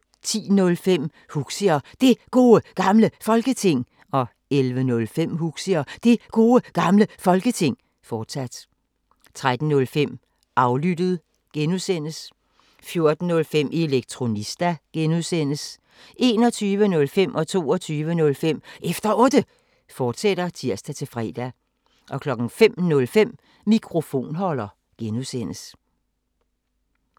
10:05: Huxi og Det Gode Gamle Folketing 11:05: Huxi og Det Gode Gamle Folketing, fortsat 13:05: Aflyttet G) 14:05: Elektronista (G) 21:05: Efter Otte, fortsat (tir-fre) 22:05: Efter Otte, fortsat (tir-fre) 05:05: Mikrofonholder (G)